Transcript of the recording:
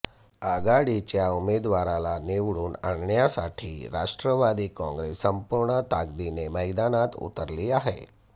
आघाडीच्या उमेदवारांला निवडून आणण्यासाठी राष्ट्रवादी काँग्रेस संपूर्ण ताकदीने मैदानात उतरली आहे